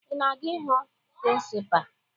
Ị na-aga ịhụ prịnsịpaa?